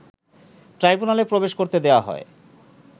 ট্রাইব্যুনালে প্রবেশ করতে দেয়া হয়